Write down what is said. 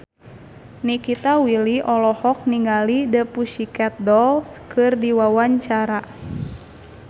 Nikita Willy olohok ningali The Pussycat Dolls keur diwawancara